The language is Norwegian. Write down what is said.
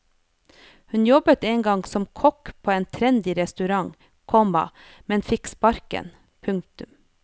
Hun jobbet en gang som kokk på en trendy restaurant, komma men fikk sparken. punktum